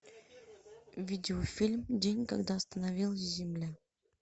видеофильм день когда остановилась земля